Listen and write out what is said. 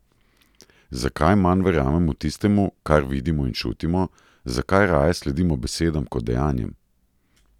Zakaj manj verjamemo tistemu, kar vidimo in čutimo, zakaj raje sledimo besedam kot dejanjem?